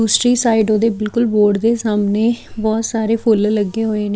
ਦੂਸਰੀ ਸਾਈਡ ਉਹਦੇ ਬਿਲਕੁਲ ਬੋਰਡ ਦੇ ਸਾਹਮਣੇ ਬਹੁਤ ਸਾਰੇ ਫੁੱਲ ਲੱਗੇ ਹੋਏ ਨੇ --